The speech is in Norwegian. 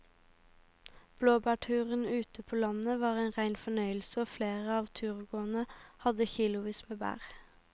Blåbærturen ute på landet var en rein fornøyelse og flere av turgåerene hadde kilosvis med bær.